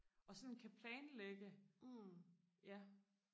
og sådan kan planlægge ja